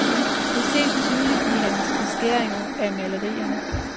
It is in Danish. Det ses tydeligt i hans beskæringer af malerierne.